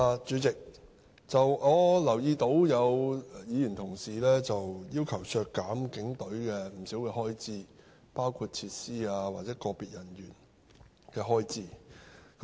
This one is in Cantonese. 主席，我留意到有議員要求削減警隊不少的開支，包括設施或個別人員的開支。